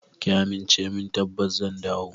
Ki amince min tabbas zan dawo.